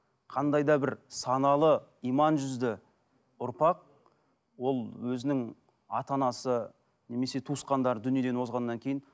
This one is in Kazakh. қандай да бір саналы иман жүзді ұрпақ ол өзінің ата анасы немесе туысқандар дүниеден озғаннан кейін